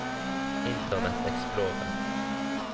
internet explorer